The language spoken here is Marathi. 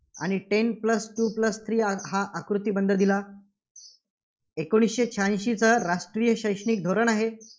आणि ten plus two plus three चा हा आकृतिबंध दिला. एकोणीसशे शह्याएंशीचं राष्ट्रीय शैक्षणिक धोरण आहे.